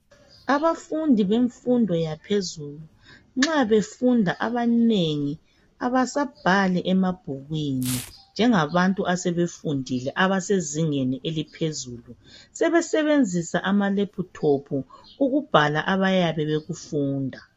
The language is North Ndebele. Abafundi bemfundo yaphezulu nxa befunda abanengi kabasabhali abasabhali emabhukwini njenga bantu asebefundile abasezingeni eliphezulu sebe sebenzisa amalaptop abayabe bekufunda